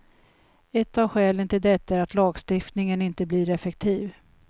Ett av skälen till detta är att lagstiftningen inte blir effektiv.